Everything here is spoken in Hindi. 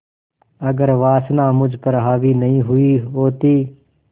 अगर वासना मुझ पर हावी नहीं हुई होती